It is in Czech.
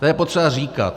To je potřeba říkat.